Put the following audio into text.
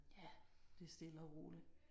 Ja det er stille og roligt